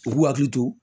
U k'u hakili to